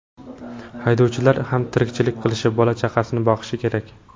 Haydovchilar ham tirikchilik qilishi, bola-chaqasini boqishi kerak.